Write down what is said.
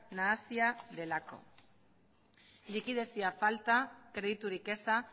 nahasia delako likidazio falta krediturik eza